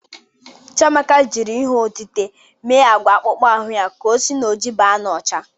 Chiamaka jri ihe otite me agwa akpụkpọ ahụ ya ka o si na ojii ba n''ọcha.